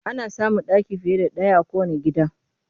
Ana samun ɗaki fiye da ɗaya a kowanne gida